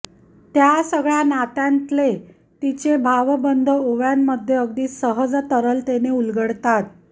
या सगळ्या नात्यांतले तिचे भावबंध ओव्यांमध्ये अगदी सहज तरलतेने उलगडतात